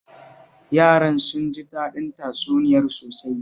Yaran sun ji daɗin tatsuniyar sosai